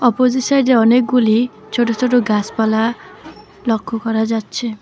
Opposite সাইডে অনেকগুলি ছোট ছোট গাসপালা লক্ষ্য করা যাচ্ছে।